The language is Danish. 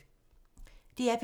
DR P3